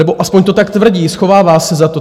Nebo aspoň to tak tvrdí, schovává se za to.